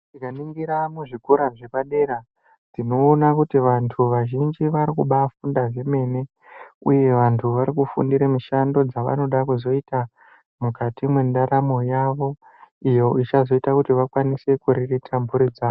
Tikaningira muzvikora zvepadera tinoona kuti vantu vazhinji varikubafunda zvemene, uye vantu varikufundira mishando dzavanoda kuzoita mukati mwendaramo yavo. Iyo ichazoita kuti vakwanise kuriritira mhuri dzavo.